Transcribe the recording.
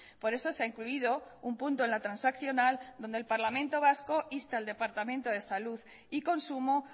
por eso se ha incluido un punto en la transaccional donde el parlamento vasco insta al departamento de salud y consumo